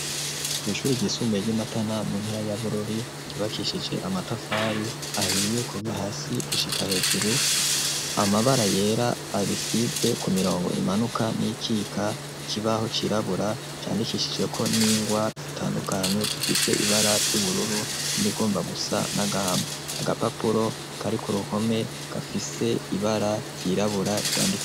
Kw'ishuri ryisumbuye ry'i Matana mu ntara ya Bururi ryubakishije amatafari ahiye kuva hasi gushika hejuru, amabara yera arisize ku mirongo imanuka n'iyikika, ikibaho cirabura candikishijeko n'ingwa zitandukanye zifise ibara ry'ubururu n'irigomba gusa n'agahama, agapapuro kari ku ruhome gafise ibara ryirabura ryanditse.